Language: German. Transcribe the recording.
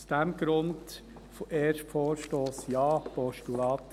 Aus diesem Grund: erster Vorstoss : Ja, Postulat.